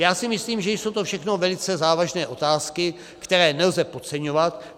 Já si myslím, že jsou to všechno velice závažné otázky, které nelze podceňovat.